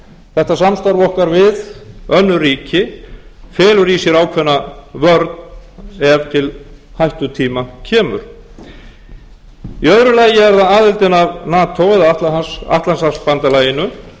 þetta samstarf okkar við önnur ríki felur í sér ákveðna vörn ef til hættutíma kemur í öðru lagi er það aðildin að nato eða atlantshafsbandalaginu